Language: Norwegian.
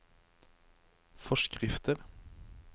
forskrifter